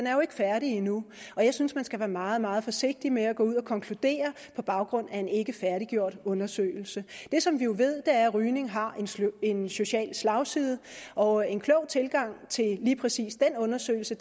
er jo ikke færdig endnu og jeg synes man skal være meget meget forsigtig med at gå ud og konkludere på baggrund af en ikke færdiggjort undersøgelse det som vi jo ved er at rygning har en social slagside og en klog tilgang til lige præcis den undersøgelse